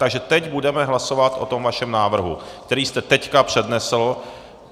Takže teď budeme hlasovat o tom vašem návrhu, který jste teď přednesl.